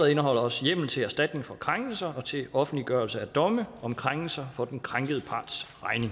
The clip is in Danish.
indeholder også hjemmel til erstatning for krænkelser og til offentliggørelse af domme om krænkelser for den krænkede parts